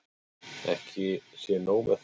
Ekki sé nóg með það.